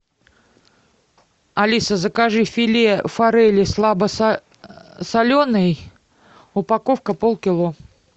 алиса закажи филе форели слабосоленой упаковка полкило